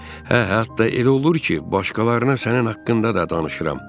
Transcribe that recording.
Hə, hətta elə olur ki, başqalarına sənin haqqında da danışıram.